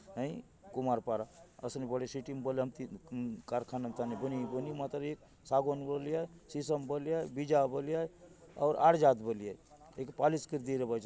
आई कुम्हारपारा असनी बड़ी सिटी में बली हमथी कारखाना थाने बनी बनी मांतर ये सागौन बले आय शीशम बले आय वीजा बले आय अउर ऑरिजात बले आय एके पालिश करी देबाय चत।